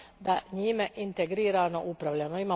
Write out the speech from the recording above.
da njime integrirano upravljamo.